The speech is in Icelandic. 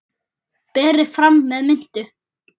Berið fram með mintu.